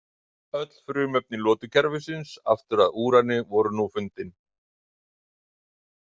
Öll frumefni lotukerfisins aftur að úrani voru nú fundin.